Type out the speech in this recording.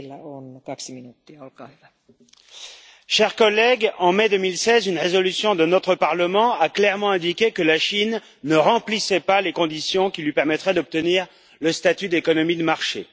Madame la Présidente, chers collègues, en mai 2016, une résolution de notre Parlement a clairement indiqué que la Chine ne remplissait pas les conditions qui lui permettraient d'obtenir le statut d'économie de marché.